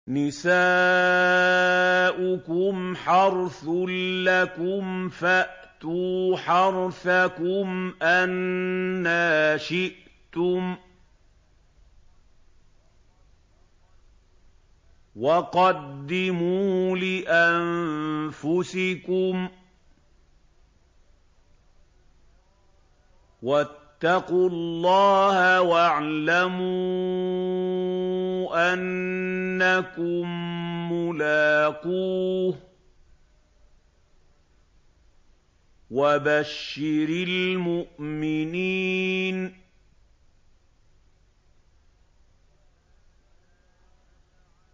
نِسَاؤُكُمْ حَرْثٌ لَّكُمْ فَأْتُوا حَرْثَكُمْ أَنَّىٰ شِئْتُمْ ۖ وَقَدِّمُوا لِأَنفُسِكُمْ ۚ وَاتَّقُوا اللَّهَ وَاعْلَمُوا أَنَّكُم مُّلَاقُوهُ ۗ وَبَشِّرِ الْمُؤْمِنِينَ